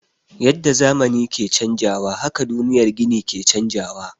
Yadda zamani ke canjawa haka duniyar gini ke canjawa.